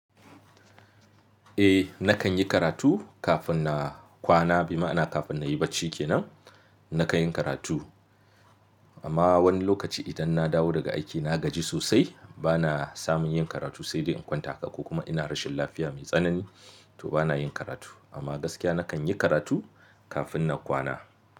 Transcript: Eh nakan yi karatu kafin na kwana, bi ma'ana kafin na yi bacci kenan, nakan yin karatu. Amma wani lokaci idan na dawo daga aiki na gaji sosai bana samun yin karatu sai dai in kwanta haka ko kuma ina rashin lafiya mai tsanani to bana yin karatu. Amma gaskiya nakan yi karatu kafin na kwana.